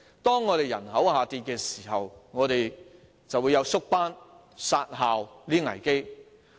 當人口下降時，便會出現縮班、"殺校"的危機。